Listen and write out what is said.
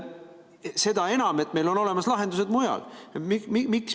Seda enam, et meil on olemas muud lahendused.